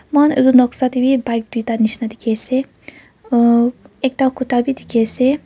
muihan itu noksa tey wi bike duita nishina dikhiase uh ekta kuta wi dikhi ase.